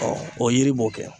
o yiri b'o kɛ.